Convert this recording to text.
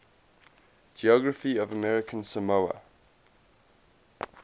geography of american samoa